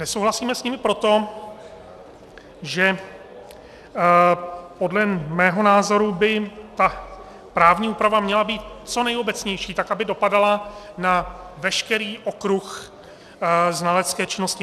Nesouhlasíme s nimi proto, že podle mého názoru by ta právní úprava měla být co nejobecnější, tak aby dopadala na veškerý okruh znalecké činnosti.